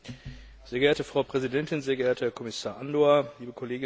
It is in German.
Frau Präsidentin, sehr geehrter Herr Kommissar, liebe Kolleginnen und Kollegen!